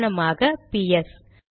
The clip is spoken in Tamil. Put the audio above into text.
உதாரணமாக பிஎஸ்